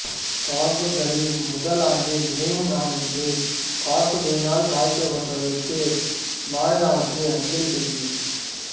தாக்குதல்களின் முதல் ஆண்டு நினைவு நாளன்று தாக்குதல்களால் பாதிக்கப்பட்டவர்களுக்கு மாநில அரசு அஞ்சலி செலுத்தியது